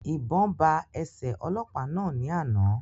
Ìbọn ba ẹsẹ ọlọ́pàá náà ní àna